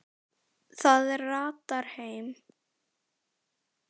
Það ratar heim.